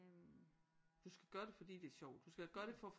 Du skal gøre det fordi det er sjovt du skal gøre det